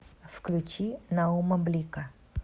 включи наума блика